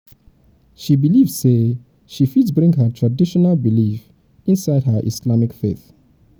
she believe sey she fit bring her traditional belief inside her islamic faith.